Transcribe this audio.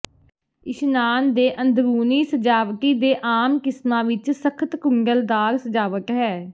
ਇਸ਼ਨਾਨ ਦੇ ਅੰਦਰੂਨੀ ਸਜਾਵਟੀ ਦੇ ਆਮ ਕਿਸਮਾਂ ਵਿੱਚ ਸਖਤ ਕੁੰਡਲਦਾਰ ਸਜਾਵਟ ਹੈ